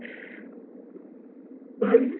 କରିକି